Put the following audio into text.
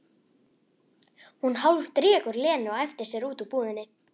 Hún hálfdregur Lenu á eftir sér út úr búðinni.